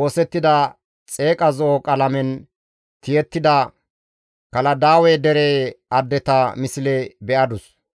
oosettida xeeqa zo7o qalamen tiyettida Kaladaawe dere addeta misle be7adus.